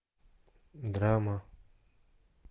драма